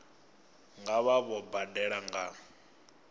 nga vha vho badela nga